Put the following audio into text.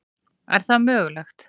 Er það mögulegt?